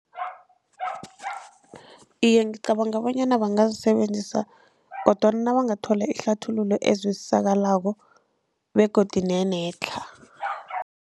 Iye, ngicabanga bonyana bangazisebenzisa kodwana nabangathola ihlathululo ezwisisekako begodu nenetlha.